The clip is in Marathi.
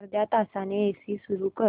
अर्ध्या तासाने एसी सुरू कर